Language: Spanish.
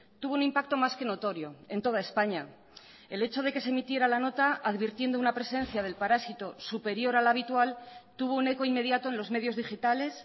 tuvo un impacto más que notorio en toda españa el hecho de que se emitiera la nota advirtiendo una presencia del parásito superior al habitual tuvo un eco inmediato en los medios digitales